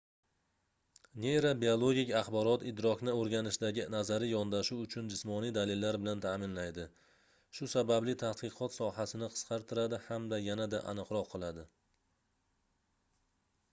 neyrobiologik axborot idrokni oʻrganishdagi nazariy yondashuv uchun jismoniy dalillar bilan taʼminlaydi shu sababli tadqiqot sohasini qisqartiradi hamda yanada aniqroq qiladi